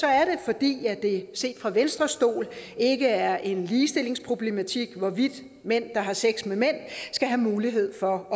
er det fordi det set fra venstres stol ikke er en ligestillingsproblematik hvorvidt mænd der har sex med mænd skal have mulighed for